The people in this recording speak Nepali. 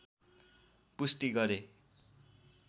पुष्टि गरे